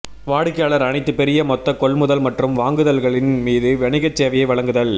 வாடிக்கையாளர் அனைத்து பெரிய மொத்த கொள்முதல் மற்றும் வாங்குதல்களின் மீது வணிகச் சேவையை வழங்குதல்